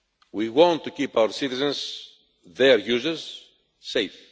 We want to keep our citizens their users safe.